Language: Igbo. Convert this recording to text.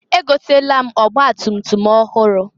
Egotalụ m ọgbatutum ọhụrụ.